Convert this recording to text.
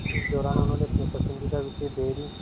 इस दौरान उन्होंने अपने पसंदीदा विषय डेयरी